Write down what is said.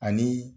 Ani